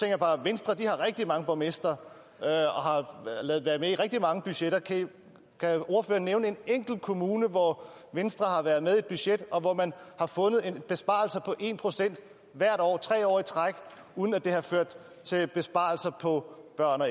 jeg bare at venstre har rigtig mange borgmestre og har været med i rigtig mange budgetter kan ordføreren nævne en enkelt kommune hvor venstre har været med et budget og hvor man har fundet en besparelse på en procent hvert år tre år i træk uden at det har ført til besparelser for børn og